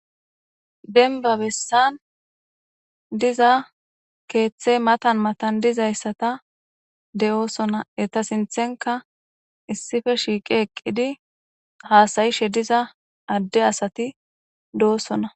Denba bessan diza keeththey matan matan dizayssata de'oosona eta sinthenka issife shiiqi eqqidi haasayishe diza adde asati do'osona.